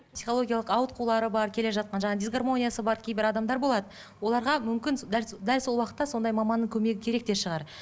психологиялық ауытқулары бар келе жатқан жаңа дисгармониясы бар кейбір адамдар болады оларға мүмкін дәл дәл уақытта сондай маманның көмегі керек те шығар